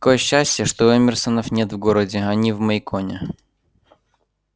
какое счастье что эмерсонов нет в городе они в мейконе